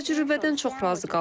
Mən bu təcrübədən çox razı qaldım.